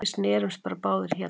Við snerumst bara báðir hérna.